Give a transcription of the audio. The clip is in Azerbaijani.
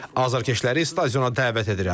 Azarkeşləri stadiona dəvət edirəm.